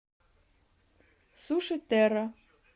суши терра